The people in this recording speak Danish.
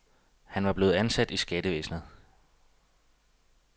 Han var blevet ansat i skattevæsnet.